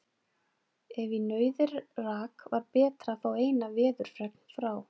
Ef í nauðir rak, var betra að fá eina veðurfregn frá